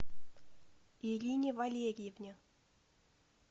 ирине валерьевне